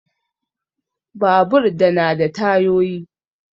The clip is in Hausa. Babur da na da tayoyi.